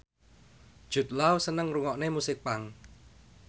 Jude Law seneng ngrungokne musik punk